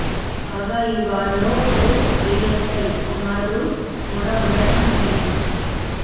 కాగా ఈ వార్ లో ఓ ఏఎస్ఐ కుమారుడు కూడా ఉండటం విశేషం